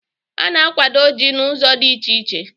A na-akwado Ji n'ụzọ dị iche iche